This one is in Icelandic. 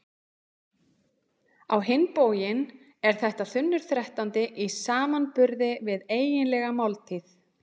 Á hinn bóginn er þetta þunnur þrettándi í samanburði við eiginlega máltíð.